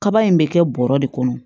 Kaba in bɛ kɛ bɔrɔ de kɔnɔ